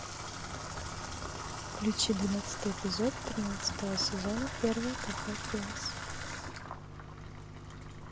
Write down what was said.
включи двенадцатый эпизод тринадцатого сезона первое кафе принц